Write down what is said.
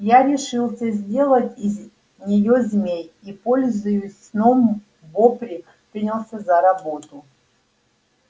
я решился сделать из неё змей и пользуюсь сном бопре принялся за работу